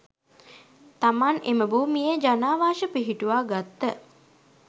තමන් එම භූමියේ ජනාවාශ පිහිටුවා ගත්ත